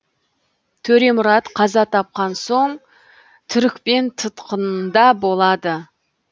төремұрат қаза тапқан соң түрікпен тұтқынында болады